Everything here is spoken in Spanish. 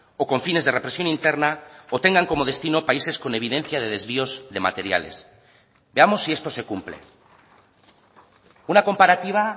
o con fines de represión interna o tengan como destino países con evidencia de desvíos de materiales veamos si esto se cumple una comparativa